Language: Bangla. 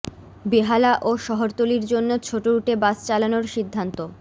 বেহালা ও শহরতলীর জন্য ছোট রুটে বাস চালানোর সিদ্ধান্ত